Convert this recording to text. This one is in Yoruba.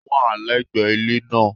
Ó wà légbè ilé náà